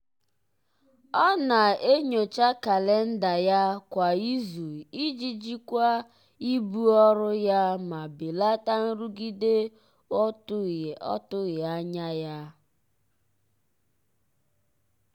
ọ na-enyocha kalenda ya kwa izu iji jikwaa ibu ọrụ ya ma belata nrụgide ọtụghị anya ya.